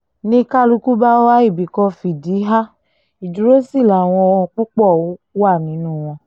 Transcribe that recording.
ni kálukú bá wá ibì kan fìdí há ìdúró sí làwọn púpọ̀ wà nínú wọn